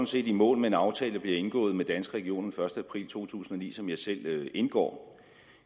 set i mål med en aftale der bliver indgået med danske regioner første april to tusind og ni som jeg selv indgår